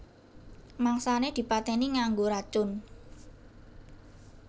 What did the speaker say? Mangsané dipatèni nganggo racun